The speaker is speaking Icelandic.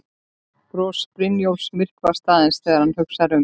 Bros Brynjólfs myrkvast aðeins þegar hann hugsar um